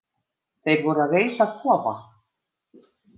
Þeir voru að reisa kofa.